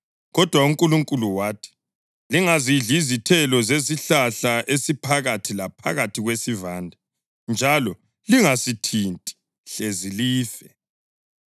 kodwa uNkulunkulu wathi, ‘Lingazidli izithelo zesihlahla esiphakathi laphakathi kwesivande, njalo lingasithinti, hlezi life.’ ”